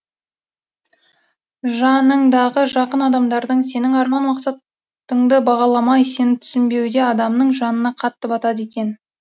жаныңдағы жақын адамдардың сенің арман мақсаттыңды бағаламай сені түсінбеуде адамның жанына қатты батады екен